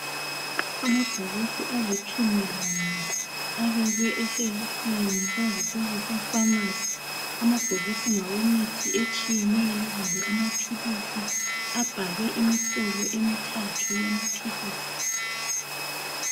Amabhokisi alitshumi lanye abekwe eshelufini kwazise kusefamasi. Amabhokisi ngawemithi etshiyeneyo kumbe amaphilisi abhalwe imihlobo emithathu yamaphilisi.